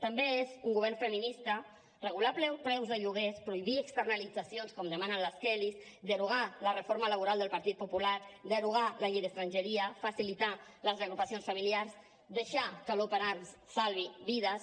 també és un govern feminista regular preus de lloguers prohibir externalitzacions com demanen les kellys derogar la reforma laboral del partit popular derogar la llei d’estrangeria facilitar les reagrupacions familiars deixar que l’open arms salvi vides